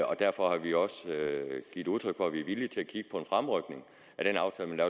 og derfor har vi også givet udtryk for at vi er villige til at kigge på en fremrykning af den aftale der